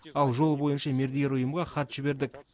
ал жол бойынша мердігер ұйымға хат жібердік